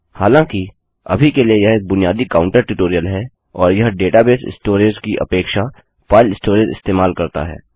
हालाँकिअभी के लिए यह एक बुनियादी काउन्टर ट्यूटोरियल है और यह डेटाबेस स्टोरेज की अपेक्षा फाइल स्टोरेज इस्तेमाल करता है